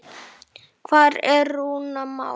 Hvar er Rúnar Már?